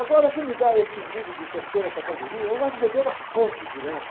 Agora, se me dá esse livro de terceira categoria? Eu gosto de beber na fonte direto.